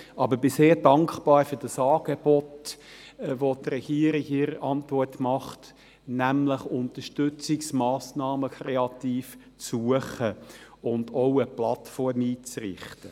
Aber ich bin sehr dankbar für das Angebot, welches die Regierung in ihrer Antwort macht, nämlich Unterstützungsmassnahmen kreativ zu suchen und auch eine Plattform einzurichten.